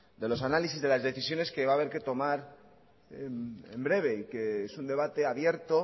de los análisis de las decisiones que va a haber que tomar en breve y que es un debate abierto